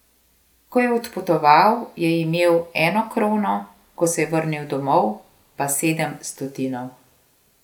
Ko je odpotoval, je imel eno krono, ko se je vrnil domov, pa sedem stotinov.